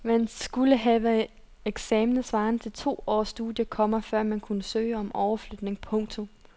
Man skulle have eksaminer svarende til to års studier, komma før man kunne søge om overflytning. punktum